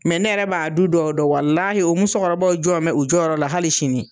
Mɛ ne yɛrɛ b'a du dɔw dɔn walahi o musokɔrɔbaw jɔ bɛ u jɔyɔrɔ la hali sini